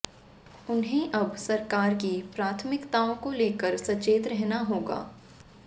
उन्हें अब सरकार की प्राथमिकताओं को लेकर सचेत रहना होगा